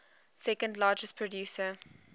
second largest producer